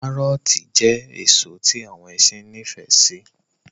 Kárọọti jẹ́ èso tí àwọn ẹṣin nifẹ si